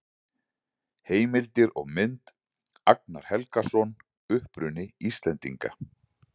Heimildir og mynd: Agnar Helgason: Uppruni Íslendinga.